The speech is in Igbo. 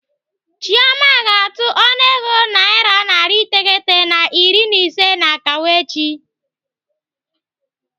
Chioma ga-atụ ọnụego naira narị iteghete na iri na ise n'akawo echi.